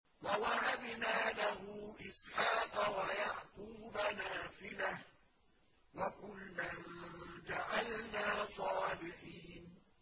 وَوَهَبْنَا لَهُ إِسْحَاقَ وَيَعْقُوبَ نَافِلَةً ۖ وَكُلًّا جَعَلْنَا صَالِحِينَ